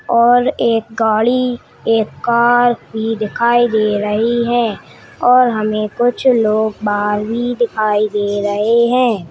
और एक गाड़ी एक कार भी दिखाई दे रही हैऔर हमे कुछ लोग बाहर भी दिखाई दे रहे हैं।